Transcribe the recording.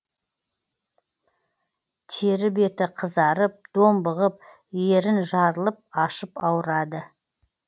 тері беті қызарып домбығып ерін жарылып ашып ауырады